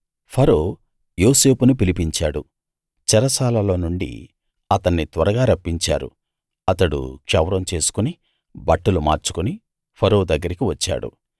ఫరో యోసేపును పిలిపించాడు చెరసాలలో నుండి అతన్ని త్వరగా రప్పించారు అతడు క్షవరం చేసుకుని బట్టలు మార్చుకుని ఫరో దగ్గరికి వచ్చాడు